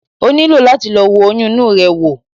O nílò láti lọ wo oyún inú rẹ wò